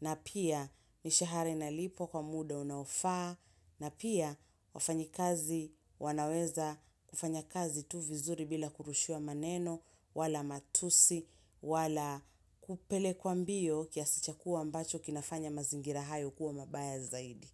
na pia mishahara inalipwa kwa muda unaofaa, na pia wafanyi kazi wanaweza kufanya kazi tu vizuri bila kurushiwa maneno, wala matusi, wala kupelekwa mbio kiasi cha kuwa ambacho kinafanya mazingira hayo kuwa mabaya zaidi.